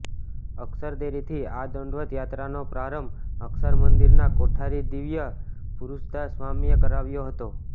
અક્ષરદેરીથી આ દંડવત યાત્રાનો પ્રારંભ અક્ષર મંદિરના કોઠારી દિવ્ય પુરુષદાસ સ્વામીએ કરાવ્યો હતો